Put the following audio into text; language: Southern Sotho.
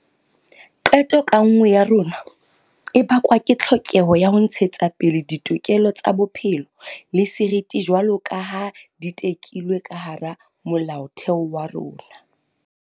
Qeto ka nngwe ya rona e bakwa ke tlhokeho ya ho ntshetsapele ditokelo tsa bophelo le seriti jwaloka ha di tekilwe ka hara Molaotheo wa rona.